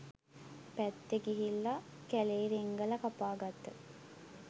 පැත්තෙ ගිහිල්ල කැලේ රිංගල කපාගත්ත